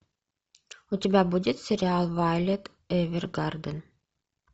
у тебя будет сериал вайолет эвергарден